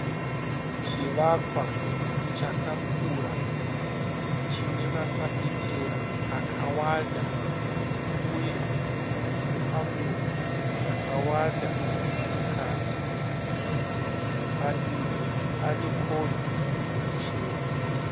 Chivakwa chakakura chine mafafitera akawanda uye zvikamuri zvakawanda mukati . Padivi panekombi ichena.